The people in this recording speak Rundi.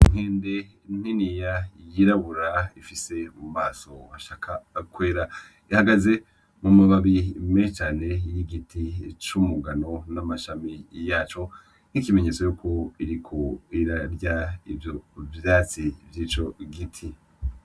Inkende niniya yirabura ifise mu maso hashaka kwera, ihagaze mu mababi menshi cane y'igiti c'umugano n'amashami yaco, nk'ikimenyetso yuko iriko irarya ivyo vyatsi vyico giti.